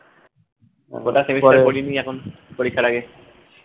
পরীক্ষার আগে